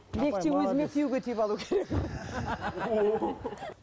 өзіме күйеуге тиіп алу керек